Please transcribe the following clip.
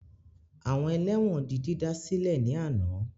Àwọn ẹlẹ́wọ̀n di dídá sílẹ̀ ní àná